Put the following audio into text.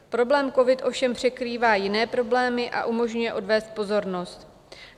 Problém covid ovšem překrývá jiné problémy a umožňuje odvést pozornost.